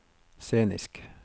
scenisk